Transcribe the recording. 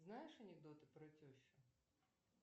знаешь анекдоты про тещу